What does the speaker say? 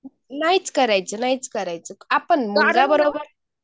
नाहीच करायचे नाहीच करायचे आपण माझ्याबरोबर